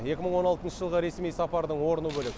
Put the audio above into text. екі мың он алтыншы жылғы ресми сапардың орны бөлек